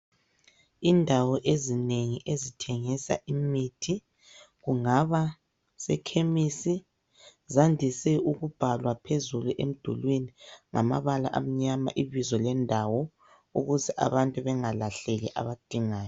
Indawo ezinengi ezithengisa imithi kungaba sekhemisi zandise ukubhalwa phezulu emdulwini ngamabala amnyama ibizo lendawo ukuze abantu bengalahleki abadingayo.